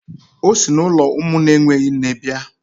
O si n'ụlọ ụmụ na-enweghị nne bịa